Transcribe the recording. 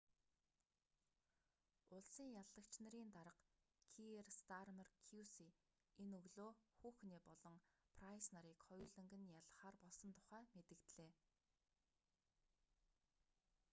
улсын яллагч нарын дарга киер стармер кьюси энэ өглөө хухне болон прайс нарыг хоёуланг нь яллахаар болсон тухай мэдэгдлээ